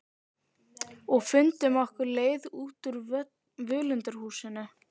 Og fundum okkar leið út úr völundarhúsinu.